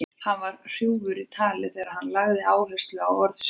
Hann var hrjúfur í tali þegar hann lagði áherslu á orð sín.